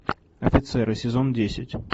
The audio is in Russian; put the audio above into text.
офицеры сезон десять